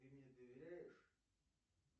ты мне доверяешь